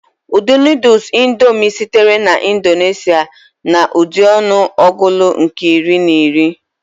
Ụdị noddles indomie sitere na Indonesia na Ụdị ọnụ ọgụụlụ nke iri na iri.